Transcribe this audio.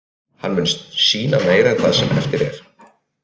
Hann mun sýna meira það sem eftir er.